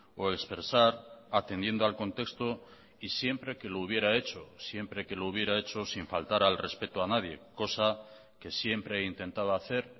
o expresar atendiendo al contexto y siempre que lo hubiera hecho siempre que lo hubiera hecho sin faltar al respeto a nadie cosa que siempre he intentado hacer